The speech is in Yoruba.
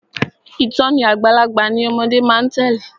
Ìtòní àgbàlagbà ni ọmọde má a tèlé.